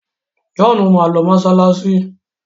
John má lọ masalasi.